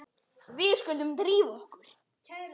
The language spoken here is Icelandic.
Við skulum drífa okkur.